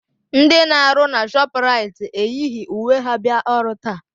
Ndị na-arụ na Shọpraịt eyighi uwe ha bịa ọrụ taa.